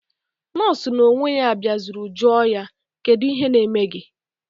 Nọọsụ na onwe ya biazuru joo ya: Kedu ihe na eme gi?